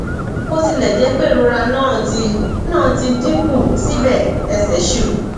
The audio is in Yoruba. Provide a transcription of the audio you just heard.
bó tilẹ jẹ pé ìrora náà ti náà ti dín kù síbẹ ẹsẹ ṣì wú